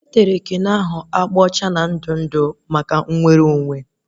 E tere keno ahụ agba ọcha na ndụ ndụ maka indipendensị